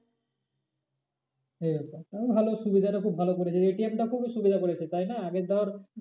এই ব্যাপার ভালো সুবিধাটা খুব ভালো করেছে ATM টা খুব সুবিধা করেছে তাই না আগে ধর